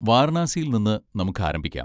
വാരണാസിയിൽ നിന്ന് നമുക്ക് ആരംഭിക്കാം.